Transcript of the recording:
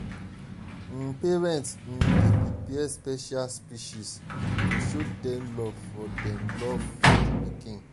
um parents um dey prepare special speeches to show dem love for dem love for pikin.